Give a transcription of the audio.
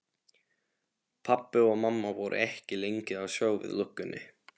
Pabbi og mamma voru ekki lengi að sjá við löggunni.